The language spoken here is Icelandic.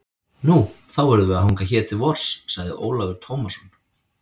Nú, þá verðum við að hanga hér til vors, sagði Ólafur Tómasson.